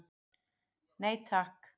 Nei takk.